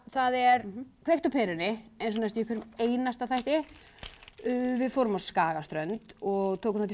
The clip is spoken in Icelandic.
það er kveikt á perunni eins og næstum því í hverjum einasta þætti við fórum á Skagaströnd og tókum þátt í